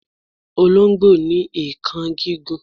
Olongbo ni eekan gigun